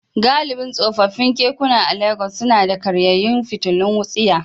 Galibin tsofaffin kekuna a Legas suna da karyayyun fitilun wutsiya.